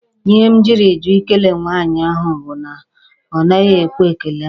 Ihe m jiri jụ Ị kele nwaanyị ahụ bụ na ọ naghị ekwe ekele mụ.